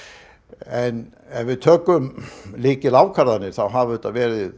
en ef við tökum lykilákvarðanir það hafa verið